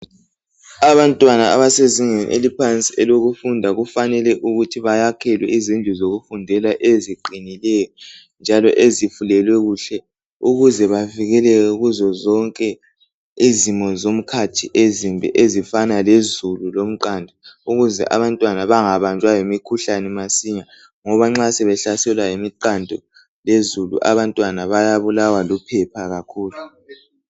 abantwana abasezingeni eliphansi lokufunda kufanele ukuthi bayakhelwe izindlu zokufundela eziqinileyo njalo ezifulelwe kuhle ukuze bavikeleke kuzo zonke izimo zomkhathi ezimbi ezifana lezulu lomqando ukuze abantwana bangabanjwa yimikhuhlane masinya ngoba nxa sebehlaselwa ngumqando lezulu abantwana bayabulawa luphepha kakhulu